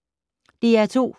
DR2